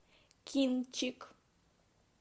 кинчик